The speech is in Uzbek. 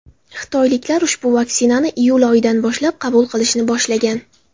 Xitoyliklar ushbu vaksinani iyul oyidan boshlab qabul qilishni boshlagan.